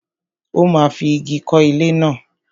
Ó máa fi ìgi kọ́ ilé náà.